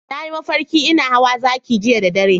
Na yi mafarki ina hawa zaki jiya da dare.